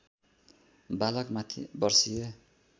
बालकमाथि बर्सिए